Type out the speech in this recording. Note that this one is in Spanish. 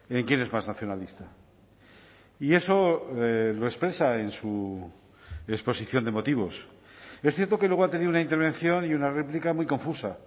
en quién es más nacionalista y eso lo expresa en su exposición de motivos es cierto que luego ha tenido una intervención y una réplica muy confusa